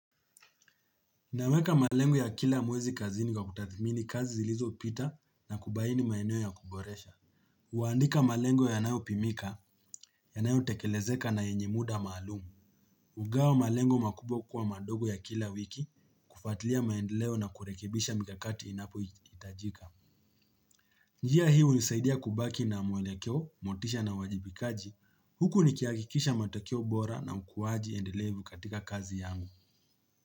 Naweka malengo ya kila mwezi kazini kwa kutathimini kazi zilizopita na kubaini maeneo ya kuboresha. Kuandika malengo yanayopimika, yanayotekelezeka na yenye muda maalumu. Kugawa malengo makubwa kuwa madogo ya kila wiki kufuatilia maendeleo na kurekebisha mikakati inapohitajika. Njia hii hunisaidia kubaki na mwelekeo, motisha na uwajibikaji. Huku nikihakikisha matokeo bora na ukuaji endelevu katika kazi yangu.